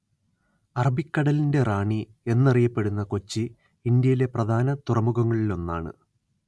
അറബിക്കടലിന്റെ റാണി എന്നറിയപ്പെടുന്ന കൊച്ചി ഇന്ത്യയിലെ പ്രധാന തുറമുഖങ്ങളിലൊന്നാണ്